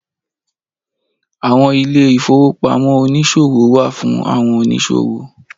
Àwọn ilé ìfowópamọ́ oniṣowo wá fún àwọn oníṣòwò